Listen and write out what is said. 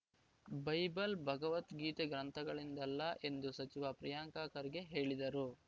Bible Bhagavad Gita ಗ್ರಂಥಗಳಿಂದಲ್ಲ ಎಂದು ಸಚಿವ ಪ್ರಿಯಾಂಕ್‌ ಖರ್ಗೆ ಹೇಳಿದರು